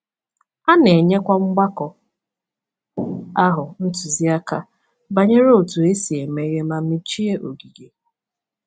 A na-enyekwa mgbakọ ahụ ntụziaka banyere otú e si emeghe ma mechie ogige.